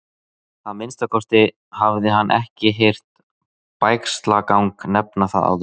Að minnsta kosti hafði hann ekki heyrt Bægslagang nefna það áður.